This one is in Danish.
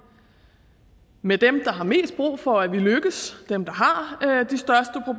med dem der har mest brug for at vi lykkes dem der